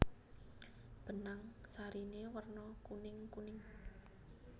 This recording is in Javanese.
Benang sariné werna kuningkuning